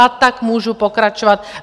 A tak můžu pokračovat.